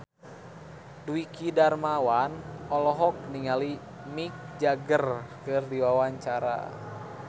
Dwiki Darmawan olohok ningali Mick Jagger keur diwawancara